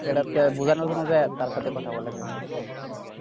এটাতো বোঝানোর জন্য যাইয়া তার সাথে কথা বলে যে না এরকম কি